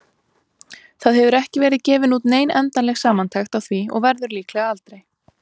Það hefur ekki verið gefin út nein endanleg samantekt á því og verður líklega aldrei.